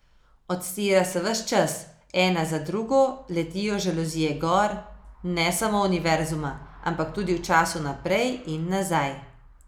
Odstira se ves čas, ena za drugo letijo žaluzije gor, ne samo univerzuma, ampak tudi v času naprej in nazaj.